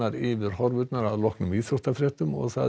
yfir horfurnar að loknum íþróttafréttum